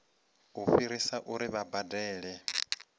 u fhirisa uri vha badele